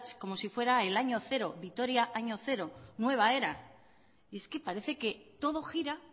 como si fuera el año cero vitoria año cero nueva era y es que parece que todo gira